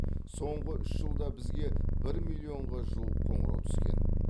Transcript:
соңғы үш жылда бізге бір миллионға жуық қоңырау түскен